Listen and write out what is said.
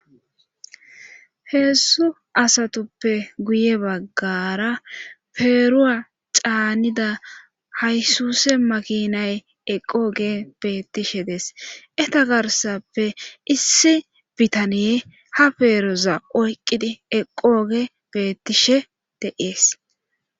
heessu asatuppe guye baggara peeruwa caanida haysuse makinay eqooge beettishe des eta garsappe issi bitaniye ha peeroza oyqqidi eqooge beettishe de7ees